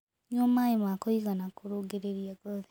Nyua mae ma kũĩgana kũrũngĩrĩrĩa ngothĩ